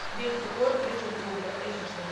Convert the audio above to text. бельфегор призрак лувра аш ди